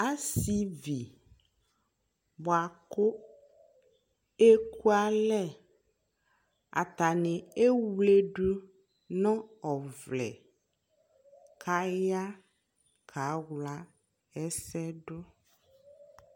Asivi buakʋ ekualɛ Atani ewledʋ nʋ ɔvlɛ kaya kawla ɛsɛ dʋ